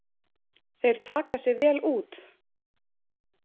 Þeir taka sig vel út.